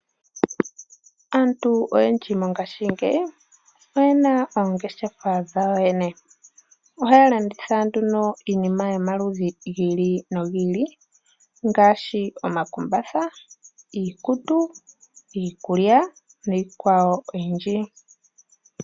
Aantu oyendji mongashingeyi oye na oongeshefa dhawo yene. Ohaya landitha nduno iinima yomaludhi gi ili no gi ili ngaashi omakumbatha , iikutu, iikulya niikwawo oyindji.